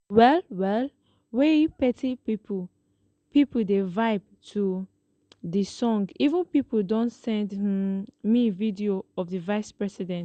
well well wia plenti pipo pipo dey vibe to di song even pipo don send um me video of di vice president